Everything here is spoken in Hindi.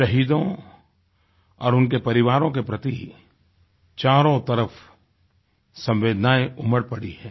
शहीदों और उनके परिवारों के प्रति चारों तरफ संवेदनाएँ उमड़ पड़ी हैं